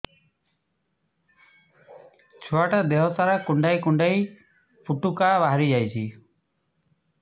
ଛୁଆ ଟା ଦେହ ସାରା କୁଣ୍ଡାଇ କୁଣ୍ଡାଇ ପୁଟୁକା ବାହାରି ଯାଉଛି